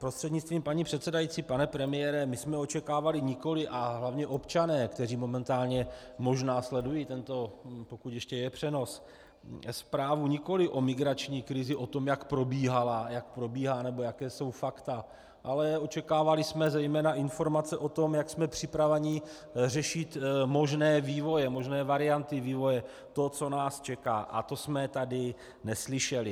Prostřednictvím paní předsedající pane premiére, my jsme očekávali nikoli, a hlavně občané, kteří momentálně možná sledují tento, pokud ještě je, přenos, zprávu nikoli o migrační krizi, o tom, jak probíhala, jak probíhá nebo jaká jsou fakta, ale očekávali jsme zejména informace o tom, jak jsme připraveni řešit možné vývoje, možné varianty vývoje, to, co nás čeká, a to jsme tady neslyšeli.